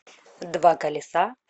два колеса